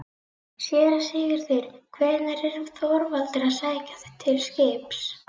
SÉRA SIGURÐUR: Hvern var Þorvaldur að sækja til skips?